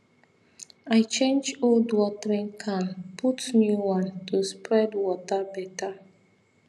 i change old watering can put new one to spread water better